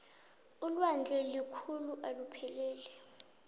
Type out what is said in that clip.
ulwandle lukhulu alipheleli